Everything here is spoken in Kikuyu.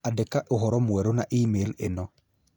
Andĩka ũhoro mwerũ na e-mail ĩno